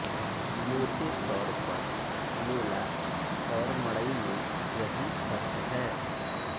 मोटे तौर पर मेला और मड़ई में यही फर्क है